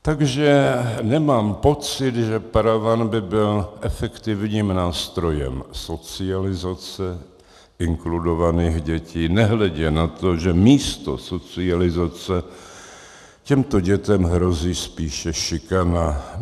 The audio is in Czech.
Takže nemám pocit, že paraván by byl efektivním nástrojem socializace inkludovaných dětí, nehledě na to, že místo socializace těmto dětem hrozí spíše šikana.